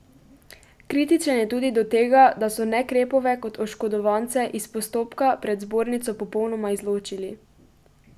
Kritičen je tudi do tega, da so Nekrepove kot oškodovance iz postopka pred zbornico popolnoma izločili.